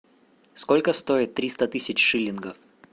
сколько стоит триста тысяч шиллингов